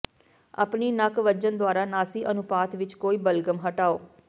ਆਪਣੀ ਨੱਕ ਵੱਜਣ ਦੁਆਰਾ ਨਾਸੀ ਅਨੁਪਾਤ ਵਿੱਚ ਕੋਈ ਬਲਗ਼ਮ ਹਟਾਓ